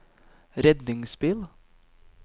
redningsbil